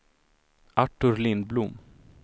Artur Lindblom